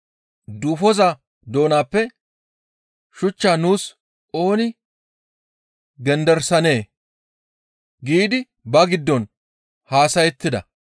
«Duufoza doonappe shuchchaa nuus ooni genderisanee?» giidi ba giddon haasayettida.